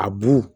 A bu